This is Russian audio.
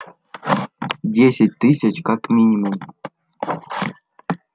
десять тысяч как минимум